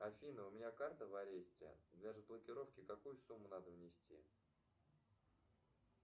афина у меня карта в аресте для разблокировки какую сумму надо внести